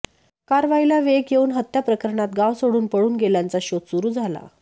कारवाईला वेग येऊन हत्या प्रकरणात गाव सोडून पळून गेलेल्यांचा शोध सुरू झाला